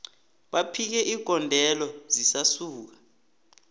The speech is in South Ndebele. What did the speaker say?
baphike igondelo zisuka